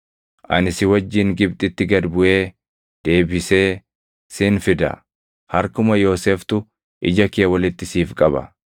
Ani si wajjin Gibxitti gad buʼee deebisee sin fida. Harkuma Yooseftu ija kee walitti siif qaba.”